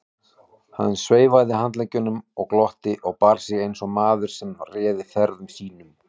Hann sveiflaði handleggjunum og glotti og bar sig eins og maður sem réði ferðum sínum.